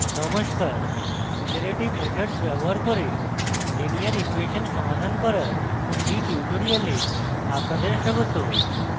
নমস্কার iterative methods ব্যবহার করে linear ইকুয়়েসন সমাধান করার এই tutorial আপনাদের স্বাগত